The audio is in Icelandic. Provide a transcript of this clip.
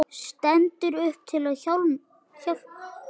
Stendur upp til að hjálpa.